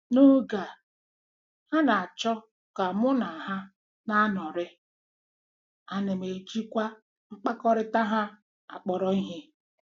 N'oge a, ha na-achọ ka mụ na ha na-anọrị, a nam ejikwa mkpakọrịta ha kpọrọ ihe.